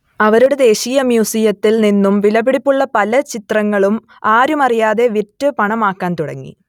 അവരുടെ ദേശീയ മ്യൂസിയത്തിൽ നിന്നും വിലപിടിപ്പുള്ള പല ചിത്രങ്ങളും ആരുമറിയാതെ വിറ്റ് പണമാക്കാൻ തുടങ്ങി